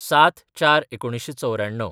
०७/०४/१९९४